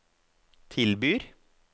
tilbyr